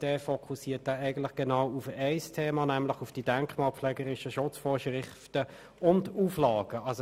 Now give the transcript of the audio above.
Er fokussiert genau auf ein Thema, nämlich auf die denkmalpflegerischen Schutzvorschriften und Auflagen.